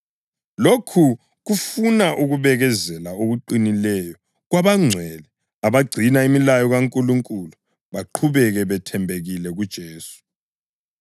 Lokhu kufuna ukubekezela okuqinileyo kwabangcwele abagcina imilayo kaNkulunkulu baqhubeke bethembekile kuJesu.